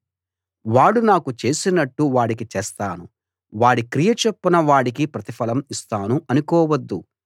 వాడు నాకు చేసినట్లు వాడికి చేస్తాను వాడి క్రియ చొప్పున వాడికి ప్రతిఫలం ఇస్తాను అనుకోవద్దు